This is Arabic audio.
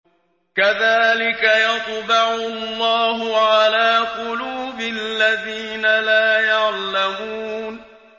كَذَٰلِكَ يَطْبَعُ اللَّهُ عَلَىٰ قُلُوبِ الَّذِينَ لَا يَعْلَمُونَ